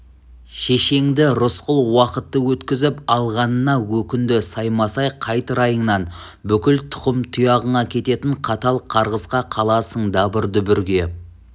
шешеңді рысқұл уақытты өткізіп алғанына өкінді саймасай қайт райыңнан бүкіл тұқым-тұяғыңа кететін қатал қарғысқа қаласың дабыр-дүбірге